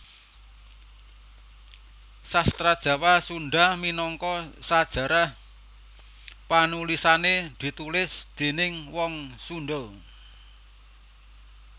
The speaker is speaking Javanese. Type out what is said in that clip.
Sastra Jawa Sunda minangka sajarah panulisané ditulis déning wong Sunda